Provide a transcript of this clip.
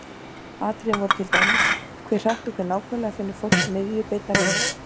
Atriðin voru til dæmis: Hve hratt og hve nákvæmlega finnur fólk miðju beinnar línu?